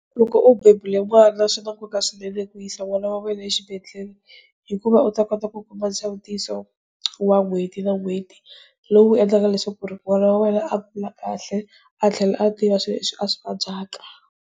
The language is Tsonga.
Loko u bebuleni n'wana swi na nkoka swinene ku yisa n'wana was wena exibedhlele hikuva u ta kota ku kuma nsawutiso wa n'hweti na n'hweti lowu endlaka leswaku ri n'wana wa wena a kula kahle a tlhela a tiva swilo leswi a swi vabyaka.